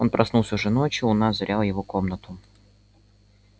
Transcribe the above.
он проснулся уже ночью луна озаряла его комнату